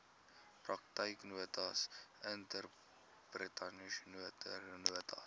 praktyknotas interpretation notes